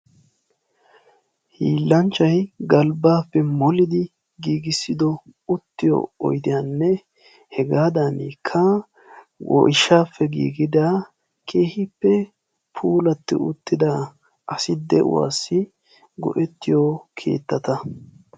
Hiillanchchay galbbappe molliddi giigissiddo uttiyo oyddiyanne hegadankka woyshshappe keehippe puulatti uttida go''ettiyo keettatta.